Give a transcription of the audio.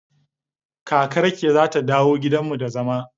Kaka Rakiya za ta dawo gidan mu da zama.